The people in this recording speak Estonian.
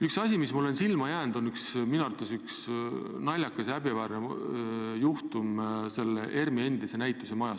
Üks asi, mis mulle on silma jäänud, on minu arvates naljakas ja häbiväärne juhtum ERM-i endise näitusemajaga.